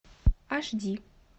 аш ди